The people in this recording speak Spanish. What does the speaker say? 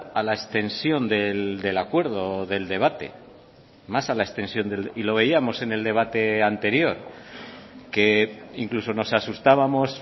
a la extensión del acuerdo del debate más a la extensión y lo veíamos en el debate anterior que incluso nos asustábamos